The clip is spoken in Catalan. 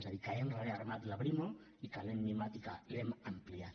és a dir que hem rearmat la brimo i que l’hem mimat i que l’hem ampliat